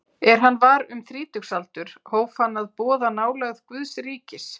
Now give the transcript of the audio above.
Er hann var um þrítugsaldur hóf hann að boða nálægð Guðs ríkis.